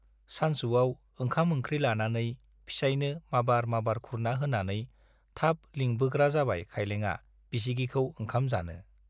सानसुआव ओंखाम-ओंख्रि लानानै फिसाइनो माबार माबार खुरना होनानै थाब लिंबोग्रा जाबाय खाइलेङा बिसिगिखौ ओंखाम जानो।